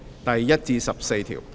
第1至14條。